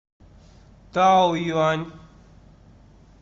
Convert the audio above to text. таоюань